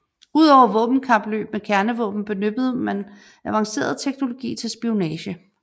Udover våbenkapløb med kernevåben benyttede man avanceret teknologi til spionage